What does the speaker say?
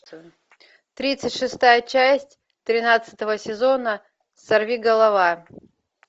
тридцать шестая часть тринадцатого сезона сорвиголова